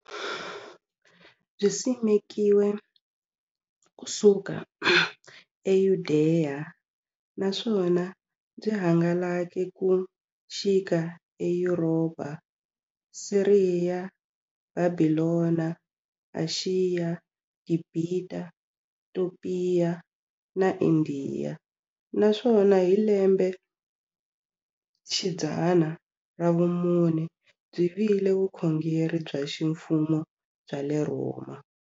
Byisimekiwe ku suka e Yudeya, naswona byi hangalake ku xika e Yuropa, Siriya, Bhabhilona, Ashiya, Gibhita, Topiya na Indiya, naswona hi lembexidzana ra vumune byi vile vukhongeri bya ximfumo bya le Rhoma.